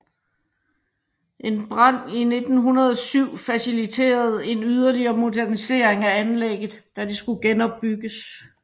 En brand i 1907 faciliterede en yderligere modernisering af anlægget da det skulle genopbygges